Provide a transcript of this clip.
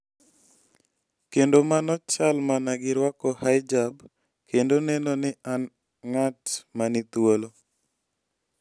Kendo mano chal mana gi rwako hijab kendo neno ni an ng'at ma ni thuolo".